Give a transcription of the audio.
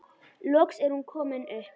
Loks er hún komin upp.